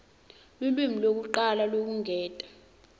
lulwimi lwekucala lwekwengeta